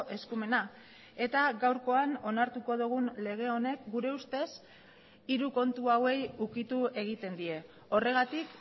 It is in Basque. eskumena eta gaurkoan onartuko dugun lege honek gure ustez hiru kontu hauei ukitu egiten die horregatik